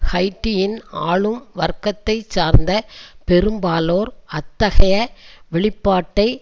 ஹைட்டியின் ஆளும் வர்க்கத்தைச்சார்ந்த பெரும்பாலோர் அத்தகைய வெளிப்பாட்டை